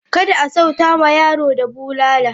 Kada a sauta ma yaro da bulala.